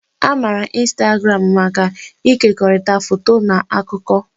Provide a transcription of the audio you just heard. A maara ịnstagramụ maka ịkekọrịta foto na akụkọ.